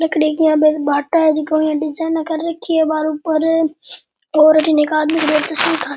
लकड़ी की है जिका ऊ इया डिजाइना कर रखी है --